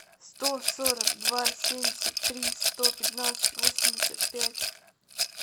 сто сорок два семьдесят три сто пятнадцать восемьдесят пять